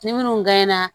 Ni minnu na